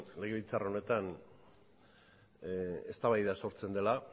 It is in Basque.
legebiltzar honetan eztabaida sortzen dela